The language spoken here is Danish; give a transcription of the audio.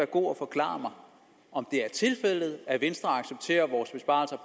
god at forklare mig om det er tilfældet at venstre accepterer vores besparelser